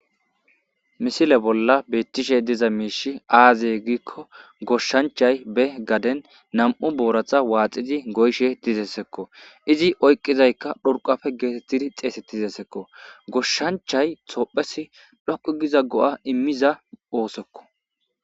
Misile bolla beettishe diza miishi aazey gikko goshshanchay be gaden nam'u booratha waaxidi goyshe tizessekko izi oyqizaykka dhorqafe geetettidi xeese ti zessekko goshshanchay tophesi dhoqu giza go'a immiza oosekko.